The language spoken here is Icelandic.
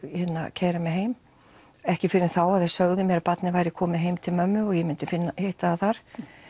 keyra mig heim ekki fyrr en þá að þeir sögðu mér að barnið væri komið heim til mömmu og ég myndi hitta það þar